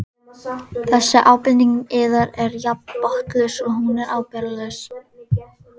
Þessi ábending yðar er jafn botnlaus og hún er ábyrgðarlaus.